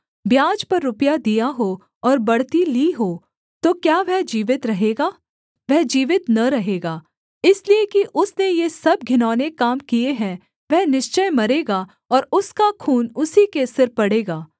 ब्याज पर रुपया दिया हो और बढ़ती ली हो तो क्या वह जीवित रहेगा वह जीवित न रहेगा इसलिए कि उसने ये सब घिनौने काम किए हैं वह निश्चय मरेगा और उसका खून उसी के सिर पड़ेगा